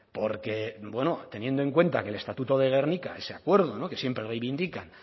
porque bueno teniendo en cuenta que el estatuto de gernika ese acuerdo que siempre reivindica